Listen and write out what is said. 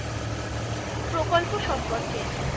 প্রকল্প সম্পর্কে ,